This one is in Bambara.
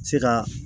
Se ka